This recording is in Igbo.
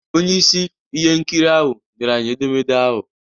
Onye isi ihe nkiri ahụ nyere anyị edemede ahụ